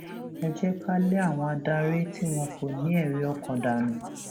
ẹ jẹ ká lé àwọn adarí tí wọn kò ní ẹrí ọkàn dànù